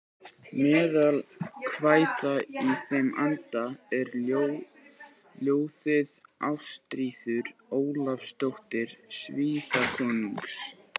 Meðal kvæða í þeim anda er ljóðið Ástríður Ólafsdóttir Svíakonungs